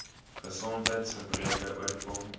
gesondheids gebreke oorkom